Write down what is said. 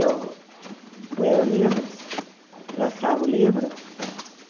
Eu punha no livro, lançava o livro.